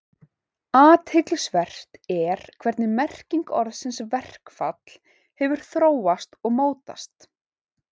Athyglisvert er hvernig merking orðsins verkfall hefur þróast og mótast.